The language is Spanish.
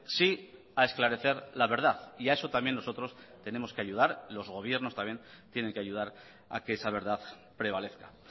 sí a esclarecer la verdad y a eso también nosotros tenemos que ayudar los gobiernos también tienen que ayudar a que esa verdad prevalezca